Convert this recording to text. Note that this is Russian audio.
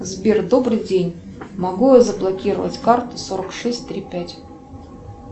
сбер добрый день могу я заблокировать карту сорок шесть три пять